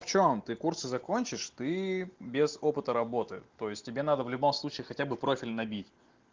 в чём ты курсы закончишь ты без опыта работы то есть тебе надо в любом случае хотя бы профиль набить